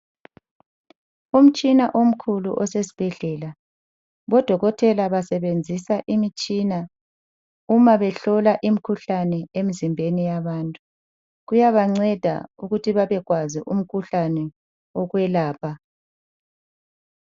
Umtshina omkhulu osesibhedlela, odokotela basebenzisa imitshina uma behlola imikhuhlane emzimbeni yabantu. Kuyabanceda ukuthi bebewazi umkhuhlane wokwelapha.